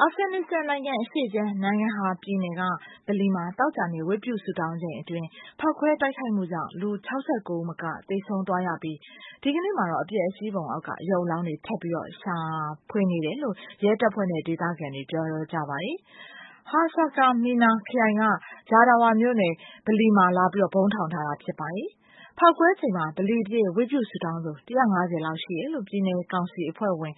အာဖဂန်နစ္စတန်နိုင်ငံအရှေ့ခြမ်း Nangarhar ပြည်နယ်က ဗလီမှာ သောကြာနေ့ ဝတ်ပြုဆုတောင်းချိန်အတွင်း ဖောက်ခွဲတိုက်ခိုက်မှုကြောင့် လူ ၆၉ ဦးမက သေဆုံးသွားရပြီး ဒီကနေ့မှာတော့ အပျက်အစီးပုံအောက်မှာ ရုပ်အလောင်းတွေ ထပ်ပြီးတော့ ရှာတွေ့ဖို့ ရဲတပ်ဖွဲ့နဲ့ ဒေသခံတွေ လုပ်ဆောင်နေကြပါတယ်။ Haskamena ခရိုင် Jawdara မြို့နယ်က ဗလီထဲမှာ လာပြီးတော့ ဗုံးထောင်ထားတာ ဖြစ်ပါတယ်။ ဖောက်ခွဲချိန်မှာ ဗလီအပြည့် ဝတ်ပြုဆုတောင်းသူ ၁၅၀ လောက် ရှိတယ်လို့ ပြည်နယ်ကောင်စီ အဖွဲ့ဝင်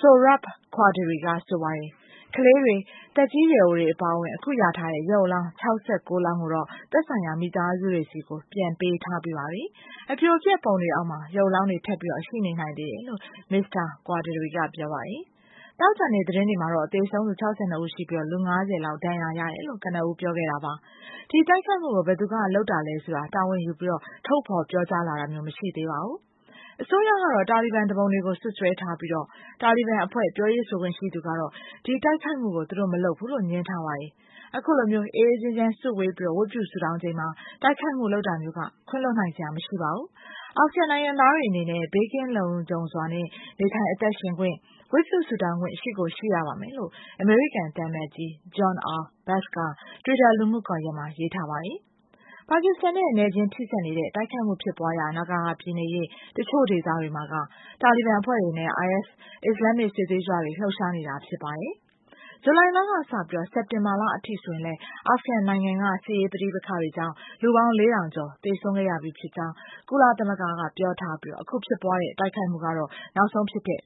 Sohrab Qaderi က ပြောပါတယ်။ ကလေးတွေ၊ သက်ကြီးရွယ်အိုတွေ အပါအဝင် အခုရထားတဲ့ ရုပ်အလောင်း ၆၉ လောင်းကိုတော့ သက်ဆိုင်ရာ မိသားစုတွေဆီ ပြန်ပေးထားပြီးပါပြီ။ အပြိုအပျက်ပုံတွေအောက်မှာ ရုပ်အလောင်းတွေ ထပ်ပြီးတော့ ရှိနေနိုင်သေးတယ်လို့ Mr. Qaderi က ပြောပါတယ်။ သောကြာနေ့ သတင်းတွေမှာတော့ သေဆုံးသူ ၆၂ ဦးရှိပြီး လူ ၅၀ လောက် ဒဏ်ရာရတယ်လို့ ပြောပါတယ်။ ဒီတိုက်ခိုက်မှုကို ဘယ်သူကလုပ်တာလဲဆိုတာ တာဝန်ယူပြီး ထုတ်ဖော်ပြောကြားလာတာမျိုး မရှိသေးပါဘူး။ အစိုးရကတော့ တာလီဘန်သူပုန်တွေကို စွပ်စွဲထားပြီး တာလီဘန်အဖွဲ့ ပြောရေးဆိုခွင့်ရှိသူကတော့ ဒီတိုက်ခိုက်မှုကို သူတို့မလုပ်ဘူးလို့ ငြင်းထားပါတယ်။ အခုလိုမျိုး အေးအေးချမ်းချမ်း စုဝေးပြီး ဝတ်ပြုဆုတောင်းချိန်မှာ တိုက်ခိုက်မှုလုပ်တာမျိုးက ခွင့်လွှတ်နိုင်စရာ မရှိပါဘူး၊ အာဖဂန်နိုင်ငံသားတွေအနေနဲ့ လုံခြုံဘေးကင်းစွာနဲ့ နေထိုင်အသက်ရှင်ခွင့်၊ ဝတ်ပြုဆုတောင်းခွင့် ရှိကိုရှိရပါမယ်လို့ အမေရိကန်သံအမတ်ကြီး John R Bass က တွစ်တာ လူမှုကွန်ရက်မှာ ရေးထားပါတယ်။ ပါကစ္စတန်နဲ့ နယ်ချင်းထိစပ်နေတဲ့ တိုက်ခိုက်မှုဖြစ်ပွားရာ နာဂါဟာပြည်နယ်ရဲ့ တချို့ဒေသတွေမှာ တာလီဘန်အဖွဲ့တွေနဲ့ IS အစ္စလာမ္မစ် စစ်သွေးကြွတွေ လှုပ်ရှားနေကြတာ ဖြစ်ပါတယ်။ ဇူလိုင်လကစပြီးတော့ စက်တင်ဘာအထိဆိုရင် အာဖဂန်နိုင်ငံက စစ်ရေးပဋိပက္ခတွေကြောင့် လူပေါင်း ၄ ထောင်ကျော် သေဆုံးခဲ့ရပြီးဖြစ်ကြောင်း ကုလသမဂ္ဂကပြောပြီး ဒီတိုက်ခိုက်မှုက နောက်ဆုံးဖြစ်တဲ့